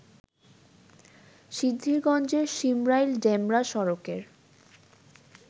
সিদ্ধিরগঞ্জের শিমরাইল-ডেমরা সড়কের